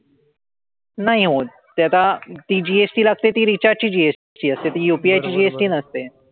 नाही होत. ते आता CGST लागते ती recharge ची GST असते. ती UPI ची GST नसते.